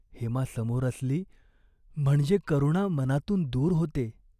हेमा समोर असली, म्हणजे करुणा मनातून दूर होते.